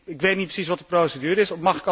Ik weet niet precies wat de procedure is.